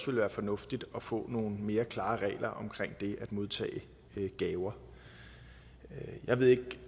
være fornuftigt at få nogle mere klare regler omkring det at modtage gaver jeg ved ikke